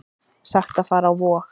Sagt að fara á Vog